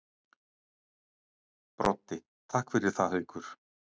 Broddi: Takk fyrir það Haukur.